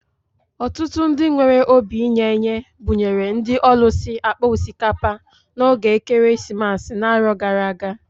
Ọtụtụ ndị nwere obi inye-enye buṅyere ndị ọlusi akpa osikapa na ógè ekeresimesi na-arọ gara-aga.